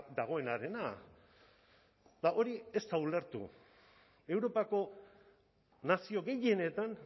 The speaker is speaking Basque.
dagoenarena eta hori ez da ulertu europako nazio gehienetan